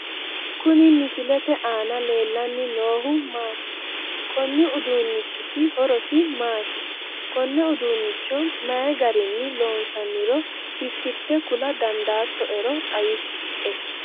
Kuni misilete aana leellanni noohu maati? konni uduunnichiti horosi maati? konne uduunicho mayii garinni loonsanniro titirte kula dandaattoero xawisie ?